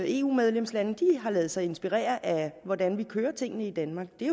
eu medlemslande har ladet sig inspirere af hvordan vi kører tingene i danmark det